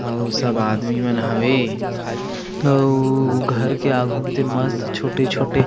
अउ सब आदमी मन हवे अउ घर के आघू म तेन मस्त छोटे-छोटे--